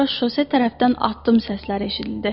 Sonra şose tərəfdən addım səsləri eşidildi.